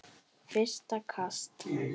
Fyrsta kast